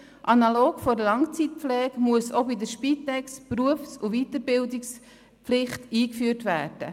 Analog zur Langzeitpflege muss auch bei der Spitex die Berufs- und Weiterbildungspflicht eingeführt werden.